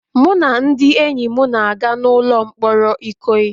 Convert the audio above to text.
Mụ na ndị enyi m na-aga n'ụlọ mkpọrọ Ikoyi